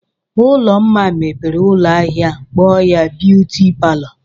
Ụlụmma mepere ụlọ ahịa kpọọ ya "Beauty Parlor".